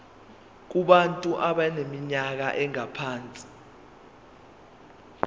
kubantu abaneminyaka engaphansi